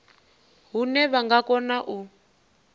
hune vha nga kona u